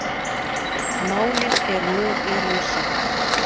Málin eru nú í rannsókn